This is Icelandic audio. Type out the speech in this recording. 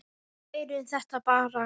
Við lærum þetta bara.